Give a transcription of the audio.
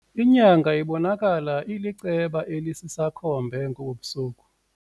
Inyanga ibonakala iliceba elisisakhombe ngobu busuku.